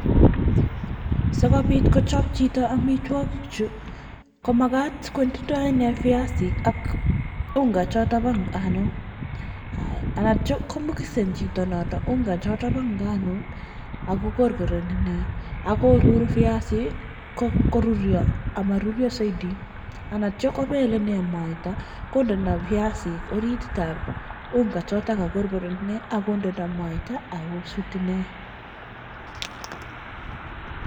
sigopit kochop chito chuu komagat kochop amitwagik chuu koyache kokorkoren icheeek